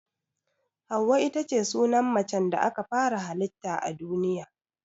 Hauwa itace sunan macen da aka fara hallita a duniya.